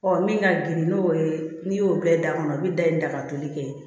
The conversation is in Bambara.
Ɔ min ka girin n'o ye n'i y'o bɛɛ da kɔnɔ u bɛ da in da ka toli kɛ